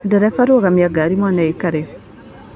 Ndereba rũgamia ngari mwana akĩre.